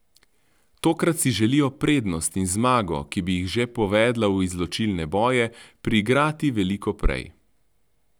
Tokrat si želijo prednost in zmago, ki bi jih že povedla v izločilne boje, priigrati veliko prej.